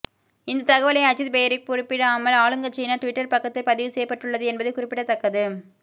இந்த தகவலை அஜித் பெயரி குறிப்பிடாமல் ஆளுங்கட்சியின் டுவிட்டர் பக்கத்தில் பதிவு செய்யப்பட்டுள்ளது என்பது குறிப்பிடத்தக்கது